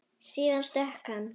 Síðan stökk hann.